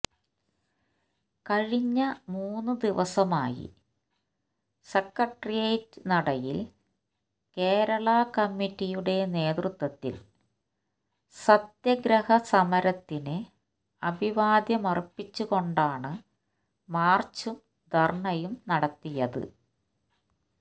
കഴിഞ്ഞ മൂന്ന് ദിവസമായി സെക്രട്ടേറ്റിയേറ്റ് നടയിൽ കേരളാ കമ്മിറ്റിയുടെ നേതൃത്വത്തിൽ സത്യഗ്രഹ സമരത്തിന് അഭിവാദ്യമർപ്പിച്ചുകൊണ്ടാണ് മാർച്ചും ധർണയും നടത്തിയത്